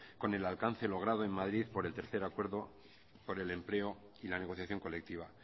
con el alcance logrado en madrid por el tercero acuerdo por el empleo y la negociación colectiva